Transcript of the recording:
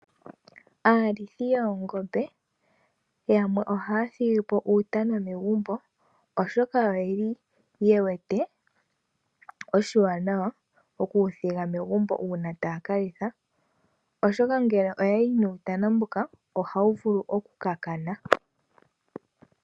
Aalithi yoongombe yamwe ohaya thigi po uutana megumbo, oshoka oyeli yewete oshiwanawa okuwuthiga megumbo uuna taya kalitha. Oshoka ngele oyayi nuutana mbuno ohawu vulu okukakana.